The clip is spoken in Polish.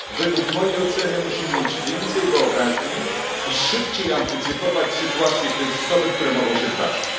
Według mojej oceny musimy mieć więcej wyobraźni i szybciej wyprzedzać sytuacje kryzysowe, które mogą się zdarzyć.